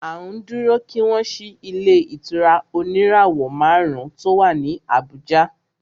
À ń dúró kí wọ́n ṣí ilé ìtura oníràwọ̀ márùn ùn tí o wá ní Abùjá.